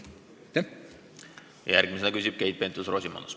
Järgmisena küsib Keit Pentus-Rosimannus.